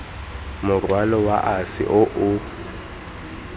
morwalo wa ase o o